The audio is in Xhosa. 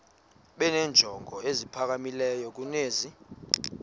benenjongo eziphakamileyo kunezi